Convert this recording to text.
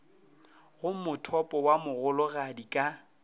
go mothopo wo mogologadi ka